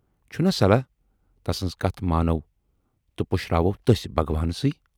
چھُنا صلاح تسٕنز کتھ مانو تہٕ پُشراوو تٔسۍ بھگوانسٕے۔